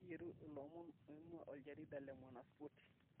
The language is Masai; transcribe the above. teyietu ilomon aoin'gua oljarida le mwanaspoti